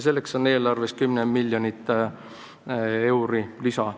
Selleks on eelarves 10 miljonit eurot lisa.